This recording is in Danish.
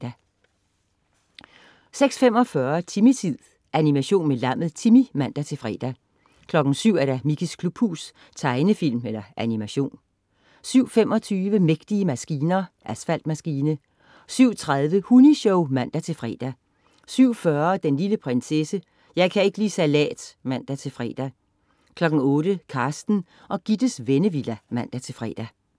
06.45 Timmy-tid. Animation med lammet Timmy (man-fre) 07.00 Mickeys klubhus. Tegnefilm/Animation 07.25 Mægtige maskiner. Asfaltmaskine 07.30 Hunni-show (man-fre) 07.40 Den lille prinsesse. Jeg kan ikke li' salat (man-fre) 08.00 Carsten og Gittes Vennevilla (man-fre)